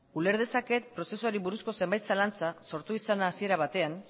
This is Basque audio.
uler dezaket prozesuari buruzko zenbait zalantza sortu izana hasiera batean